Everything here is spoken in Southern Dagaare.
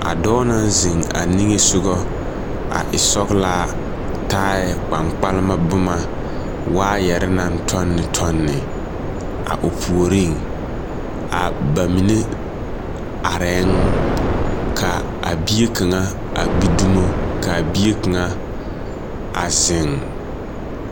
A dɔɔ naŋ zeŋ a niŋesoga a e sɔglaa, taaɛ kpaŋpalema boma waayɛre naŋ tɔnne tɔnne, a o puoriŋ, a ba mine arɛɛŋ , ka, a bie kaŋa a gbi dumo, ka a bie kaŋa, a zeŋ.